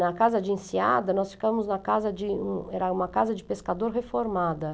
Na casa de Enseada, nós ficamos na casa de, um, era uma casa de pescador reformada.